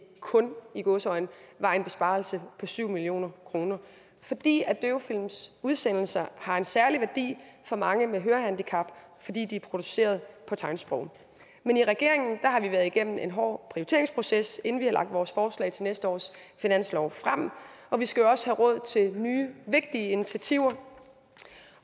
kun i gåseøjne var en besparelse på syv million kr fordi døvefilms udsendelser har en særlig værdi for mange med hørehandicap fordi de er produceret på tegnsprog men i regeringen har vi været igennem en hård prioriteringsproces inden vi har lagt vores forslag til næste års finanslov frem og vi skal jo også have råd til nye vigtige initiativer